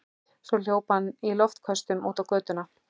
Svo hljóp hann í loftköstum út götuna.